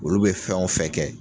Olu bɛ fɛnw fɛn kɛ.